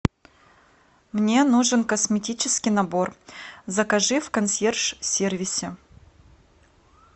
мне нужен косметический набор закажи в консьерж сервисе